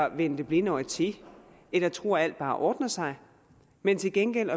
at vende det blinde øje til eller tro at alt bare ordner sig men til gengæld